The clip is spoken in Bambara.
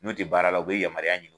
N'u tɛ baara la, u bɛ yamaruya ɲini.